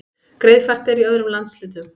Greiðfært er í öðrum landshlutum